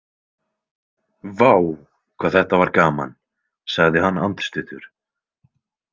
Vá, hvað þetta var gaman, sagði hann andstuttur.